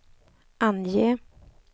ange